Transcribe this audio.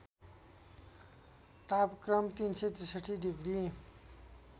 तापक्रम ३६३ डिग्री